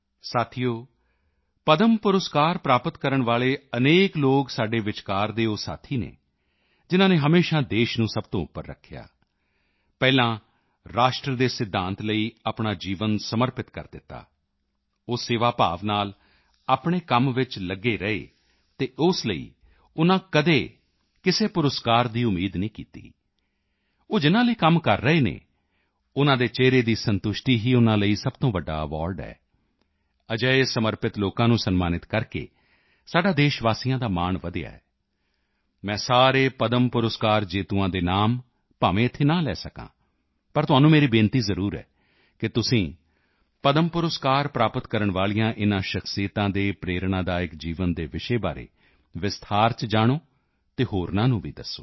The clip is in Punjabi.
ਸਾਥੀਓ ਪਦਮ ਪੁਰਸਕਾਰ ਪ੍ਰਾਪਤ ਕਰਨ ਵਾਲੇ ਅਨੇਕ ਲੋਕ ਸਾਡੇ ਵਿਚਕਾਰ ਦੇ ਉਹ ਸਾਥੀ ਹਨ ਜਿਨ੍ਹਾਂ ਨੇ ਹਮੇਸ਼ਾ ਦੇਸ਼ ਨੂੰ ਸਭ ਤੋਂ ਉੱਪਰ ਰੱਖਿਆ ਪਹਿਲਾਂ ਰਾਸ਼ਟਰ ਦੇ ਸਿਧਾਂਤ ਲਈ ਆਪਣਾ ਜੀਵਨ ਸਮਰਪਿਤ ਕਰ ਦਿੱਤਾ ਉਹ ਸੇਵਾ ਭਾਵ ਨਾਲ ਆਪਣੇ ਕੰਮ ਚ ਲਗੇ ਰਹੇ ਅਤੇ ਉਸ ਲਈ ਉਨ੍ਹਾਂ ਕਦੀ ਕਿਸੇ ਪੁਰਸਕਾਰ ਦੀ ਉਮੀਦ ਨਹੀਂ ਕੀਤੀ ਉਹ ਜਿਨ੍ਹਾਂ ਲਈ ਕੰਮ ਕਰ ਰਹੇ ਹਨ ਉਨ੍ਹਾਂ ਦੇ ਚਿਹਰੇ ਦੀ ਸੰਤੁਸ਼ਟੀ ਹੀ ਉਨ੍ਹਾਂ ਲਈ ਸਭ ਤੋਂ ਵੱਡਾ ਐਵਾਰਡ ਹੈ ਅਜਿਹੇ ਸਮਰਪਿਤ ਲੋਕਾਂ ਨੂੰ ਸਨਮਾਨਿਤ ਕਰਕੇ ਸਾਡਾ ਦੇਸ਼ਵਾਸੀਆਂ ਦਾ ਮਾਣ ਵਧਿਆ ਹੈ ਮੈਂ ਸਾਰੇ ਪਦਮ ਪੁਰਸਕਾਰ ਜੇਤੂਆਂ ਦੇ ਨਾਮ ਭਾਵੇਂ ਇੱਥੇ ਨਾ ਲੈ ਸਕਾਂ ਪਰ ਤੁਹਾਨੂੰ ਮੇਰੀ ਬੇਨਤੀ ਜ਼ਰੂਰ ਹੈ ਕਿ ਤੁਸੀਂ ਪਦਮ ਪੁਰਸਕਾਰ ਪ੍ਰਾਪਤ ਕਰਨ ਵਾਲੀਆਂ ਇਨ੍ਹਾਂ ਸ਼ਖ਼ਸੀਅਤਾਂ ਦੇ ਪ੍ਰੇਰਣਾਦਾਇਕ ਜੀਵਨ ਦੇ ਵਿਸ਼ੇ ਬਾਰੇ ਵਿਸਤਾਰ ਚ ਜਾਣੋ ਅਤੇ ਹੋਰਨਾਂ ਨੂੰ ਵੀ ਦੱਸੋ